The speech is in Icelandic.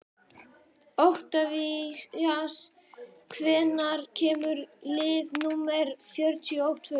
Oktavías, hvenær kemur leið númer fjörutíu og tvö?